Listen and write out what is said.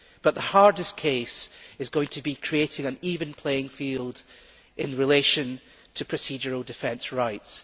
But the hardest case is going to be creating an even playing field in relation to procedural defence rights.